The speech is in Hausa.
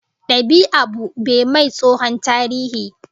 Dab'i abu be mai tsohon tarihi